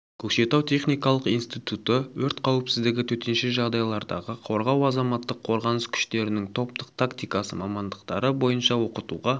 көкшетау техникалық институты өрт қауіпсіздігі төтенше жағдайлардағы қорғау азаматтық қорғаныс күштерінің топтық тактиасы мамандықтары бойынша оқытуға